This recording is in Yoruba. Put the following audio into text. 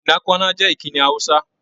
"Nnakwana" jẹ́ ìkíni Hausa.